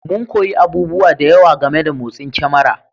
Mun koyi abubuwa da yawa game da motsin kyamara